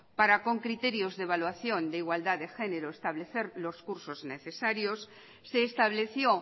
para con criterio de evaluación de igualdad de genero establecer los cursos necesarios se estableció